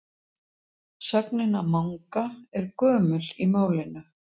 Sögnin að manga er gömul í málinu.